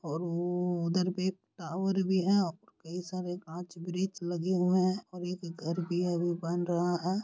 और वो-ओ उधर पे टावर भी है और कई सारे काच ब्रिज लगे हुए है और एक घर भी है वो बन रहा है।